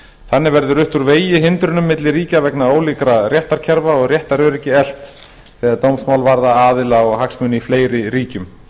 þannig verði rutt úr vegi hindrunum milli ríkja vegna ólíkra réttarkerfa og réttaröryggi eflt þegar dómsmál varða aðila og hagsmuni í fleiri ríkjum